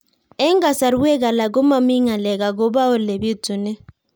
Eng' kasarwek alak ko mami ng'alek akopo ole pitunee